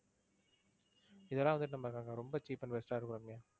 இதெல்லாம் வந்துட்டு நமக்கு அங்க ரொம்ப cheap and best ஆ இருக்கும் ரம்யா.